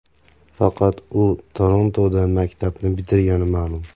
Faqat u Torontoda maktabni bitirgani ma’lum.